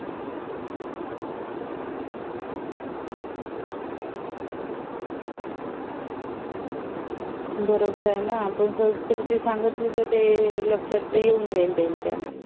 बरोबर आहे ना आपण संस्कृती सांगितली तर ते लक्षात येऊन जाईल त्यांच्या